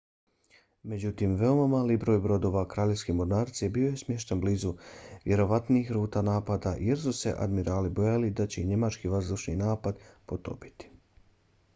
međutim veoma mali broj brodova kraljevske mornarice bio je smješten blizu vjerovatnih ruta napada jer su se admirali bojali da će ih njemački vazdušni napad potopiti